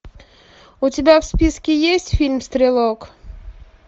у тебя в списке есть фильм стрелок